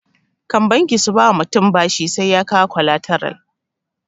Kan banki su ba wa mutum bashi sai ya kawo kwalataral